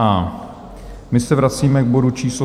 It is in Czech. A my se vracíme k bodu číslo